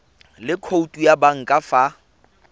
le khoutu ya banka fa